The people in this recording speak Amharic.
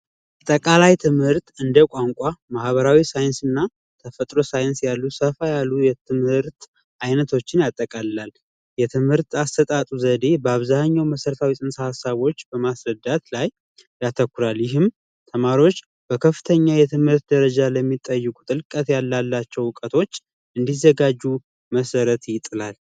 አጠቃላይ ትምህርት እንደ ቋንቋ ማህበራዊ ሳይንስና ተፈጥሮ ሳይንስ ያሉ ሰፋ ያሉ የትምህርት አይነቶችን ያጠቃልላል የትምህርት አሰጣጡ ዘዴ በአብዛኛው መሠረት ሰዎች በማስረዳት ላይ ያተኩረህም ተማሪዎች በከፍተኛ የትምህርት ደረጃ ቁጥር ያላቸው እውቀቶች እንዲዘጋጁ መሠረት ይጥላል